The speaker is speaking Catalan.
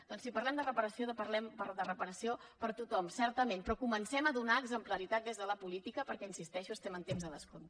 doncs si parlem de reparació parlem de reparació per a tothom certament però comencem a donar exemplaritat des de la política perquè hi insisteixo estem en temps de descompte